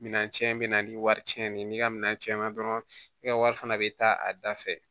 Minan tiɲɛ bɛ na ni wari cɛn ye n'i ka minɛn cɛn na dɔrɔn i ka wari fana bɛ taa a da fɛ